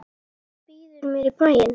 Býður mér í bæinn.